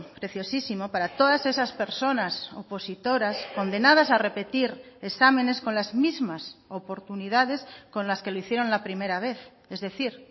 preciosísimo para todas esas personas opositoras condenadas a repetir exámenes con las mismas oportunidades con las que lo hicieron la primera vez es decir